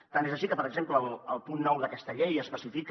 tant és així que per exemple el punt nou d’aquesta llei especifica